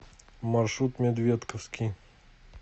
маршрут медведковский